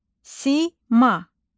Sima.